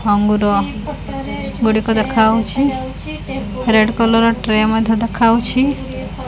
ଅଙ୍ଗୁର ଗୁଡ଼ିକ ଦେଖାଯାଉଛି ରେଡ୍ କଲର୍ ଟ୍ରେ ମଧ୍ୟ ଦେଖାଯାଉଛି।